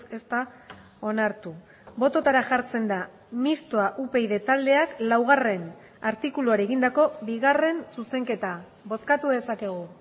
ez da onartu bototara jartzen da mistoa upyd taldeak laugarrena artikuluari egindako bigarren zuzenketa bozkatu dezakegu